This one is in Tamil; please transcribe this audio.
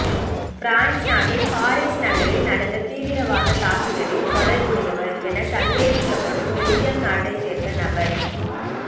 பிரான்ஸ் நாட்டின் பாரீஸ் நகரில் நடந்த தீவிரவாத தாக்குதலில் தொடர்புடையவர் என சந்தேகிக்கப்படும் பெல்ஜிய நாட்டை சேர்ந்த நபர்